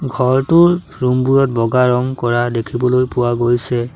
ঘৰটোৰ ৰুমবোৰত বগা ৰং কৰা দেখিবলৈ পোৱা গৈছে।